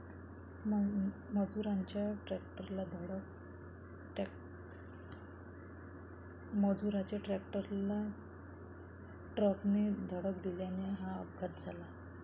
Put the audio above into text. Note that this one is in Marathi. मजुरांच्या ट्रॅक्टरला ट्रकने धडक दिल्याने हा अपघात झाला.